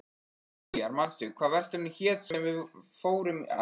Diljar, manstu hvað verslunin hét sem við fórum í á miðvikudaginn?